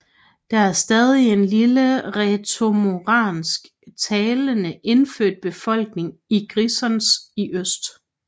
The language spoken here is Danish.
Der er stadig en lille rætoromansk talende indfødt befolkning i Grisons i øst